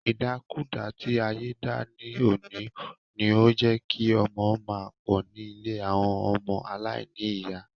Ìdàkudà tí ayé dà ní òní, ni ó jé kí ọmọ máa pọ̀ ní ilé àwọn ọmọ aláìníyà.